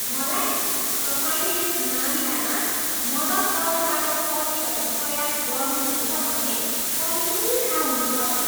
मलाई तपाईँले यस मामिलामा मद्दत गर्नबाट पछि हट्ने प्रयास गर्नुहुनेछ भन्ने पहिल्यै थाहा हुनुपर्थ्यो।